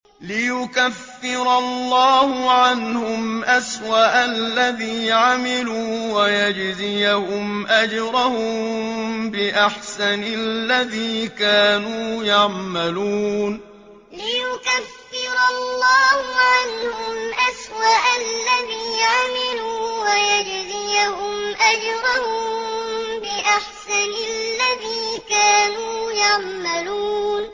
لِيُكَفِّرَ اللَّهُ عَنْهُمْ أَسْوَأَ الَّذِي عَمِلُوا وَيَجْزِيَهُمْ أَجْرَهُم بِأَحْسَنِ الَّذِي كَانُوا يَعْمَلُونَ لِيُكَفِّرَ اللَّهُ عَنْهُمْ أَسْوَأَ الَّذِي عَمِلُوا وَيَجْزِيَهُمْ أَجْرَهُم بِأَحْسَنِ الَّذِي كَانُوا يَعْمَلُونَ